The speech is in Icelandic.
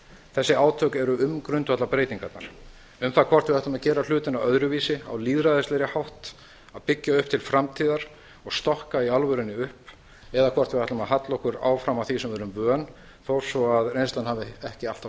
þessi átök eru um grundvallarbreytingarnar um það hvort við ætlum að gera hlutina öðruvísi á lýðræðislegri hátt að byggja upp til framtíðar og stokka í alvörunni upp eða ætlum við að halla okkur áfram að því sem við erum vön þó að reynslan hafi ekki alltaf